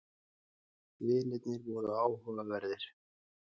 Vinirnir voru áhugaverðir.